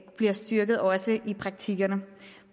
bliver styrket også i praktikkerne